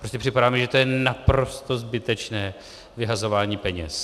Prostě připadá mi, že to je naprosto zbytečné vyhazování peněz.